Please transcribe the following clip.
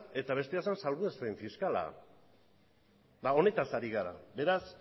eta bestea zen salbuespen fiskala eta honetaz ari gara beraz